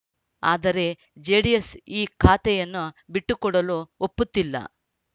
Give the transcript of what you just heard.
ಆದರೆ ಜೆಡಿಎಸ್‌ ಈ ಖಾತೆಯನ್ನು ಬಿಟ್ಟುಕೊಡಲು ಒಪ್ಪುತ್ತಿಲ್ಲ